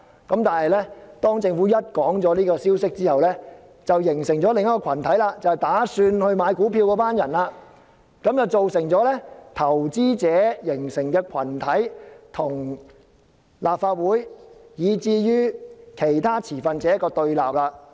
可是，當政府公布消息後，有意購買股票的人便形成另一個群體，從而造成投資者與立法會以至其他持份者的對立。